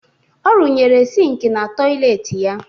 Ọ rụnyere sịịnkị na tọyịleetị ya